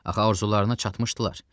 Axı arzularına çatmışdılar.